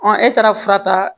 e taara fura ta